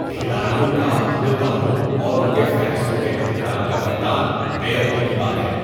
کھلاڑیوں کا عہدیداروں اور ان کے فیصلوں کے احترام کا فقدان بے ادبی کی بات ہے۔